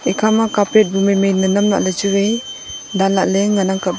ekha ma carpet bu mai mai ma nam lah ley chu vai ban lah ley ngan ang kap ley.